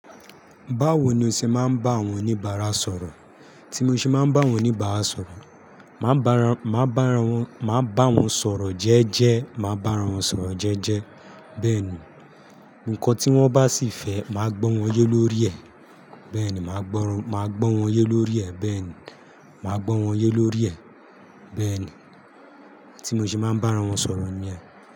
Báwo ni o ṣe máa ń bá àwọn oníbàárà sọ̀rọ̀? Tí mo ṣe máa ń bá àwọn oníbàárà sọ̀rọ̀, maa ba ra, màá bá ra wọn maa ba won sọ̀rọ̀ jẹ́ẹ́jẹ́, màá bá àwọn sọ̀rọ̀ jẹ́ẹ́jẹ́. Bẹ́ẹ̀ ni, ǹkan tí wọ́n bá sì fẹ́, màá gbọ́ wọ́n yé lórí ẹ̀, bẹ́ẹ̀ ni, màá gbọ́ wọ́n yé lórí ẹ̀, bẹ́ẹ̀ ni, màá gbọ́ wọ́n yé lórí ẹ̀, bẹ́ẹ̀ ni. Tí mo ṣe máa ń bá àwọn sọ̀rọ̀ ni ẹ.